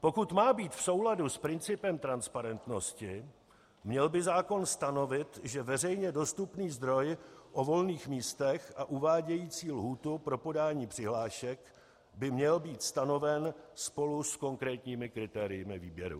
Pokud má být v souladu s principem transparentnosti, měl by zákon stanovit, že veřejně dostupný zdroj o volných místech a uvádějící lhůtu pro podání přihlášek by měl být stanoven spolu s konkrétními kritérii výběru.